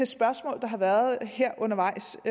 spørgsmål der har været her undervejs